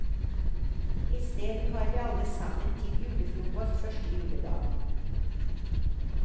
Isteden har vi alle sammen til julefrokost første juledag.